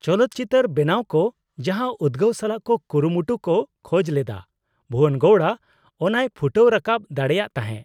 ᱪᱚᱞᱚᱛ ᱪᱤᱛᱟᱹᱨ ᱵᱮᱱᱟᱣ ᱠᱚ ᱡᱟᱦᱟᱸ ᱩᱫᱜᱟᱹᱣ ᱥᱟᱞᱟᱜ ᱠᱚ ᱠᱩᱨᱩᱢᱩᱴᱩ ᱠᱚ ᱠᱷᱚᱡ ᱞᱮᱫᱟ ᱵᱷᱩᱵᱚᱱ ᱜᱚᱣᱲᱟ ᱚᱱᱟᱣ ᱯᱷᱩᱴᱟᱹᱣ ᱨᱟᱠᱟᱵ ᱫᱟᱲᱮᱭᱟᱜ ᱛᱟᱦᱮᱸ ᱾